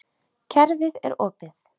Kerfið er opið.